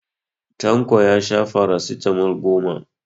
Tanko ya sha farasitamol goma.